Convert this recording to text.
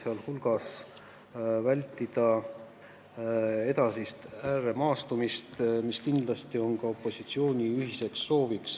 Nii soovitakse samuti vältida edasist ääremaastumist, mis kindlasti on ka opositsiooni ühine soov.